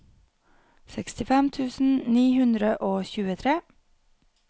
sekstifem tusen ni hundre og tjuetre